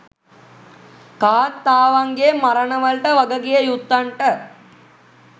කාන්තාවන්ගේ මරණ වලට වගකිව යුත්තන්ට